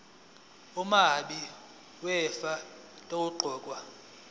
umabi wefa owaqokwa